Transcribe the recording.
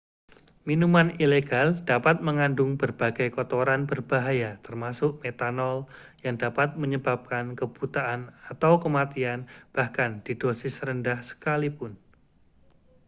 minuman ilegal dapat mengandung berbagai kotoran berbahaya termasuk metanol yang dapat menyebabkan kebutaan atau kematian bahkan di dosis rendah sekalipun